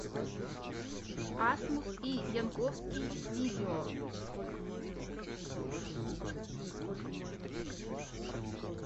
асмус и янковский видео